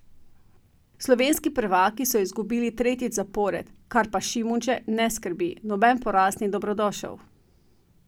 Slovenski prvaki so izgubili tretjič zapored, kar pa Šimundže ne skrbi: 'Noben poraz ni dobrodošel.